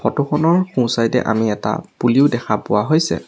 Photo খনৰ সোঁ side এ আমি এটা পুলিও দেখা পোৱা হৈছে।